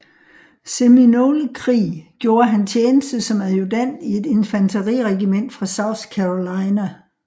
Seminolekrig gjorde han tjeneste som adjudant i et infanteriregiment fra South Carolina